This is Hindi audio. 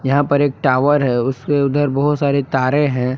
यहां पर एक टावर है उसके उधर बहुत सारे तारें हैं।